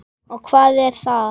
Og hvað er það?